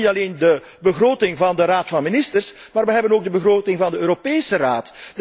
We hebben niet alleen de begroting van de Raad van Ministers, we hebben ook de begroting van de Europese Raad.